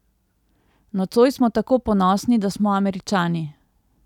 Nocoj smo tako ponosni, da smo Američani!